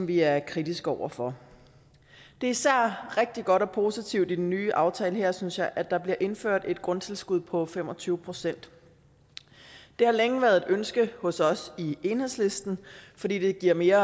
vi er kritiske over for det er især rigtig godt og positivt i den nye aftale her synes jeg at der bliver indført et grundtilskud på fem og tyve procent det har længe været et ønske hos os i enhedslisten fordi det giver mere